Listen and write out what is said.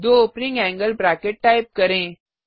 दो opening angle bracket type करें